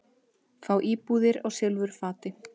Fá íbúðir á silfurfati